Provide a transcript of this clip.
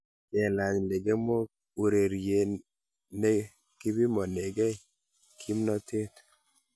Kelany lekemeeko urerie ne kipimonekei kimnotee.